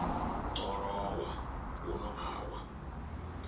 ḓo lowa huno a wa